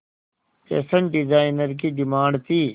fashion designer की demand थी